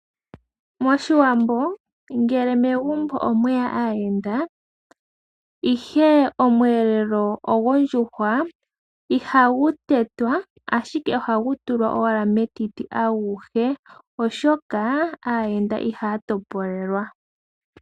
Moshiwambo ngele megumbo omweya aayenda ihe oshiyelelwa osho ndjuhwa ihashi tetwa ashike ohashi tulwa owala metiti aguhe oshoka aayenda ihaya to polelwa.